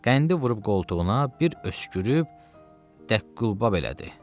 Qəndi vurub qoltuğuna, bir öskürüb dəq qulba belədi.